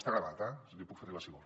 està gravat eh l’hi puc fer arribar si vol